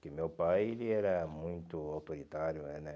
Porque meu pai ele era muito autoritário, é né?